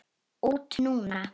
Út núna?